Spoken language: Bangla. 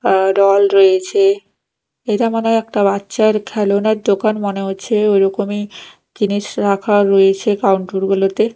আর ডল রয়েছে এইটা মনে হয় একটা বাচ্চার খেলনের দোকান মনে হচ্ছে ওইরকমই জিনিস রাখা রয়েছে কাউন্টোর -গুলোতে।